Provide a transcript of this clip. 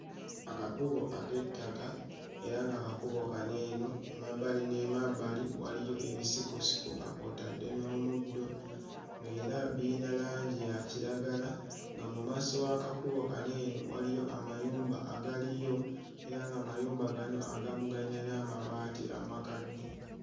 Akakubo ak'ettaka era ng'akubo kano eno emabbali n'emabbali waliyo ebisikosiko nga kw'otadde n'omuddo ng'era biyina langi ya kiragala nga mu maaso w'akakakubo kano eno waliyo amayumba agaliyo era ng'amayumba gano agamu gayina n'amabaati amakadde.